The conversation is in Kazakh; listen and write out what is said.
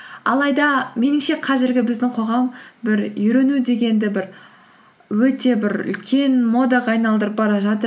алайда меніңше қазіргі біздің қоғам бір үйрену дегенді бір өте бір үлкен модаға айналдырып бара жатыр